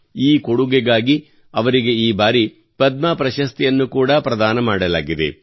ಈ ಕೊಡುಗೆಗಾಗಿ ಅವರಿಗೆ ಈ ಬಾರಿ ಪದ್ಮ ಪ್ರಶಸ್ತಿಯನ್ನು ಕೂಡಾ ಪ್ರದಾನ ಮಾಡಲಾಗಿದೆ